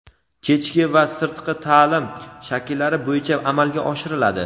kechki va sirtqi taʼlim shakllari bo‘yicha amalga oshiriladi.